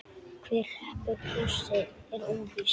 Hver hreppir hnossið er óvíst.